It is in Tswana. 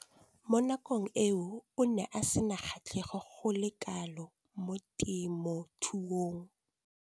Mo nakong eo o ne a sena kgatlhego go le kalo mo temothuong.